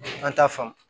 An t'a faamu